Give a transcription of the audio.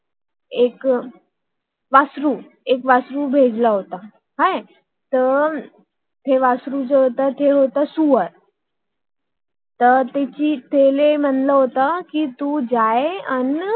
एक हम्म वासरू भेटला होता ते वासरू नव्हतं ते होत डुक्कर तर त्याला म्हटलं होत